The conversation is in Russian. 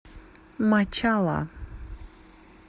мачала